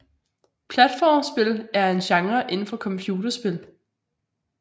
Platformspil er en genre inden for computerspil